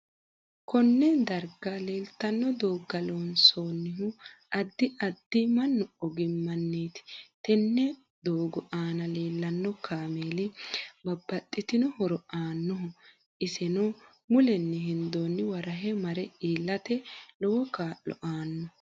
Konne darga leeltanno dooga loonsoonihu addi addi mannu ogimaniiti tenne doogo aana leelanno kaameeli babbaxitino horo aannoho isenno mulenni hendooniwa rahe mare iilate lowo kaa'lo aanno